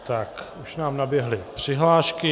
Tak, už nám naběhly přihlášky.